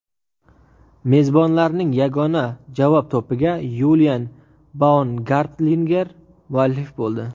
Mezbonlarning yagona javob to‘piga Yulian Baumgartlinger muallif bo‘ldi.